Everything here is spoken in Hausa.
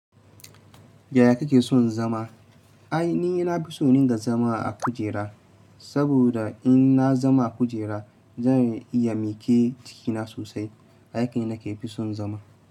Yiya kake son zama? Ai ni ina fi son in ringa zama a kujera, saboda in na zama a kujera zan iya mike jikina sosai. Aki nake fi son zama.